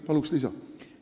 Palun lisaaega!